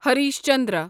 Harish Chandra